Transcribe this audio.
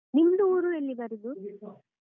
ನಿಮ್ದು ಊರು ಎಲ್ಲಿ ಬರುದು?